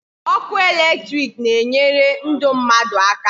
Ọkụ electric na enyere ndụ mmadụ aka